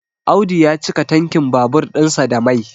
Audu ya cika tankin babur ɗinsa da Mai